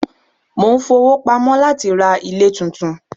Mo ń fowó pamọ́ láti ra ilé tuntun.